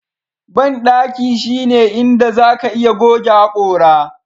Bandaki shine inda zaka iya goge hakora